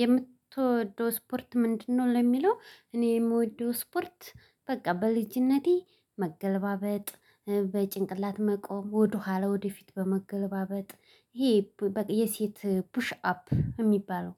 የምትወደው ስፖርት ምንድነው? ለሚለው እኔ የምወደው ስፖርት በቃ በልጅነቴ መገለባበጥ በጭንቅላት መቆም ወደኋላ ወደፊት በመገለባበጥ ይሄ በቃ የሴት ፑሽ አፕ የሚባለው።